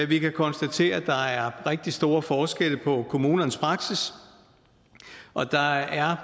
vi kan konstatere at der er rigtig store forskelle på kommunernes praksis og der er